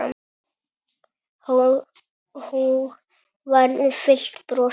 Hógværð fyllti brosið.